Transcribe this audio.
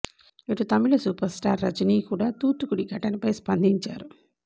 ఇటు తమిళ super star Rajini కూడా తూత్తుకుడి ఘటనపై స్పందించారు